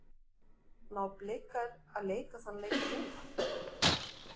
Ná Blikar að leika þann leik núna?